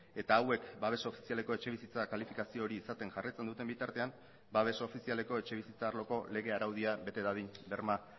eta hauek babes ofizialeko etxebizitza kalifikazio hori izaten jarraitzen duten bitartean babes ofizialeko etxebizitza arloko lege araudia bete dadin berma